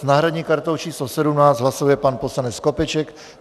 S náhradní kartou číslo 17 hlasuje pan poslanec Skopeček.